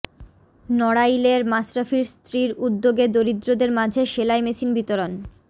নড়াইলে মাশরাফির স্ত্রীর উদ্যোগে দরিদ্রদের মাঝে সেলাই মেশিন বিতরণ